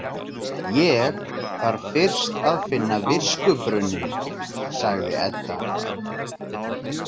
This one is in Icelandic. Ég þarf fyrst að finna viskubrunninn, sagði Edda.